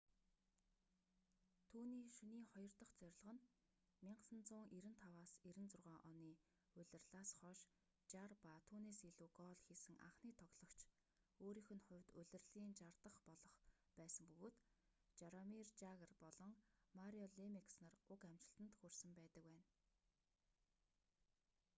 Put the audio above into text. түүний шөнийн хоёр дах зорилго нь 1995-96 оны улирлаас хойш 60 ба түүнээс илүү гоол хийсэн анхны тоглогч өөрийнх нь хувьд улирлын 60 дах болох байсан бөгөөд жаромир жагр болон марио лемиекс нар уг амжилтанд хүрсэн байдаг байна